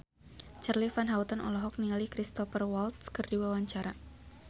Charly Van Houten olohok ningali Cristhoper Waltz keur diwawancara